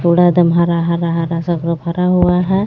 हरा हरा हरा से वो सब् भरा हुआ है.